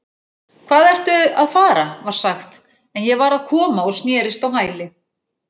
Hvað ertu að fara var sagt en ég var að koma og snerist á hæli